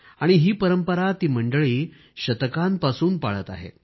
आणि ही परंपरा ती मंडळी युगांपासून पाळत आहेत